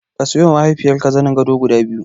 Ka siyowa mahaifiyarka zanin gado guda biyu.